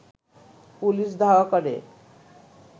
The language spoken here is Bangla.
পুলিশ ধাওয়া করে